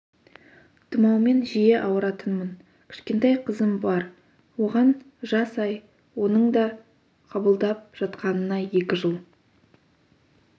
тұмаумен жиі ауыратынмын кішкентай қызым бар оған жас ай оның да қабылдап жатқанына екі жыл